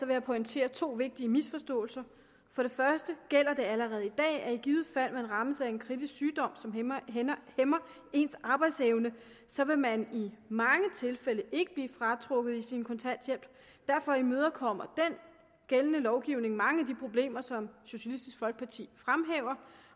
jeg pointere to vigtige misforståelser for det første gælder det allerede i dag at ifald man rammes af en kritisk sygdom som hæmmer ens arbejdsevne så vil man i mange tilfælde ikke blive trukket i sin kontanthjælp derfor imødekommer den gældende lovgivning mange af de problemer som socialistisk folkeparti fremhæver